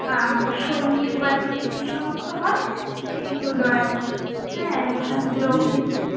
হ্যাঁ সঙ্গীত বাজিয়ে যেই সমস্ত হয়, সেই গুলো আর কি। হ্যাঁ লোকে,